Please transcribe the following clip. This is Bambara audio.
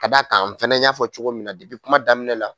K'a d'a kan n fana n y'a fɔ cogo min na kuma daminɛ la,